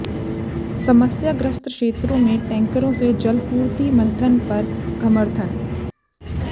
समस्याग्रस्त क्षेत्रों में टैंकरों से जलापूर्ति मंथन पर घमर्थन